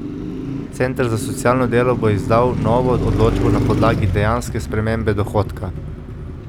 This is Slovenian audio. Center za socialno delo bo izdal novo odločbo na podlagi dejanske spremembe dohodka.